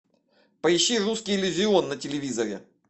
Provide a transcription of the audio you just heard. поищи русский иллюзион на телевизоре